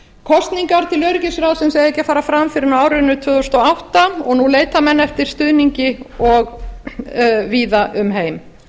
kosningar til öryggisráðsins eiga ekki að fara fram fyrr en á árinu tvö þúsund og átta og nú leita menn eftir stuðningi víða um heim